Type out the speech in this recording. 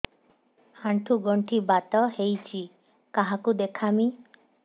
ଆଣ୍ଠୁ ଗଣ୍ଠି ବାତ ହେଇଚି କାହାକୁ ଦେଖାମି